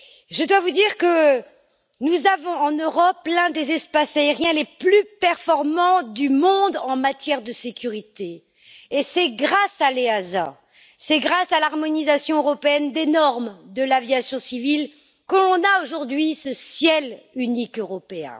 Je dois vous dire que nous avons en Europe l'un des espaces aériens les plus performants du monde en matière de sécurité et c'est grâce à l'EASA, c'est grâce à l'harmonisation européenne des normes de l'aviation civile, que nous avons aujourd'hui ce ciel unique européen.